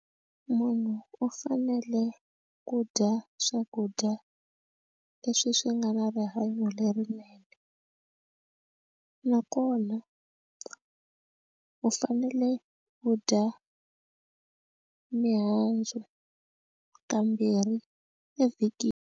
Munhu u fanele ku dya swakudya leswi swi nga na rihanyo lerinene nakona u fanele u dya mihandzu kambirhi evhikini.